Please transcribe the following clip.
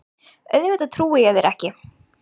Auðvitað trúi ég þér ekki.